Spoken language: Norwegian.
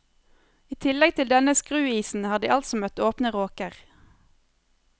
I tillegg til denne skruisen har de altså møtt åpne råker.